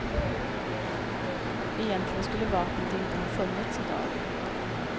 Egentligen skulle vapnet inte ha funnits i dag.